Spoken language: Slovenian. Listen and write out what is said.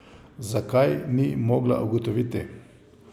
Zakaj, ni mogla ugotoviti.